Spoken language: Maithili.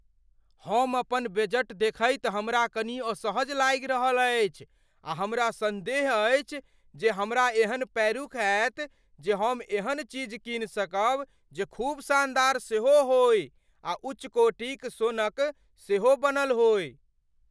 अपन बजट देखैत हमरा कनि असहज लागि रहल अछि आ हमरा सन्देह अछि जे हमरा एहन पैरूख हैत जे हम एहन चीज कीन सकब जे खूब शानदार सेहो होइ आ उच्च कोटि क सोनकसेहो बनल होइ।